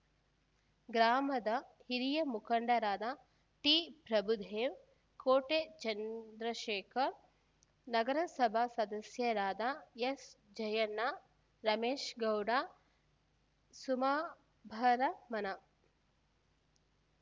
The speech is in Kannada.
ಗ್ರಾಮದ ಹಿರಿಯ ಮುಖಂಡರಾದ ಟಿಪ್ರಭುದೇವ್‌ ಕೋಟೆ ಚಂದ್ರಶೇಖರ್‌ ನಗರಸಭಾ ಸದಸ್ಯರಾದ ಎಸ್‌ಜಯಣ್ಣ ರಮೇಶ್‌ಗೌಡ ಸುಮಾಭರಮಣ